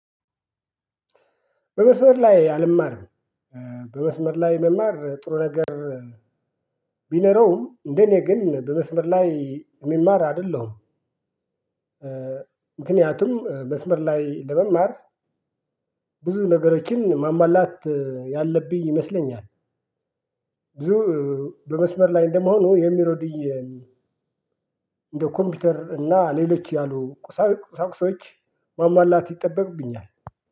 በመስመር ላይ አልማርም። በመስመር ላይ መማር ጥሩ ነገር ቢኖረውም እንደኔ ግን በመስመር ላይ እሚማር አይደለሁም። ምክንያቱም መስመር ላይ ለመማር ብዙ ነገሮችን ማሞላት ያለብኝ ይመስለኛል። ብዙ በመስመር ላይ እንደመሆኑ የሚረዱኝ እንደ ኮምፒውተር እና ሌሎች ያሉ ቁሳቁሶች ማሟላት ይጠበቅብኛል።